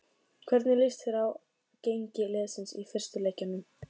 Hvernig lýst þér á gengi liðsins í fyrstu leikjunum?